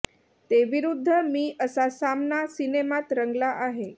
ते विरूद्ध मी असा सामना सिनेमात रंगला आहे